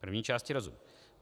První části rozumím.